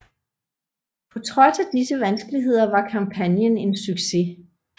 På trods af disse vanskeligheder var kampagnen en succes